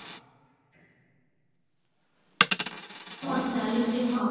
କଣ ଚାଲିଛି ହଁ